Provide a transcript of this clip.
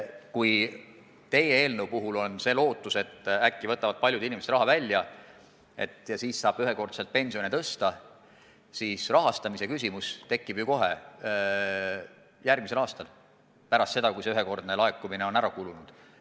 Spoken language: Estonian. Kui teie eelnõu puhul on see lootus, et äkki võtavad paljud inimesed raha välja ja siis saab ühekordselt pensioni tõsta, siis rahastamise küsimus tekib kohe järgmisel aastal – pärast seda, kui see ühekordne laekumine on ära kulunud.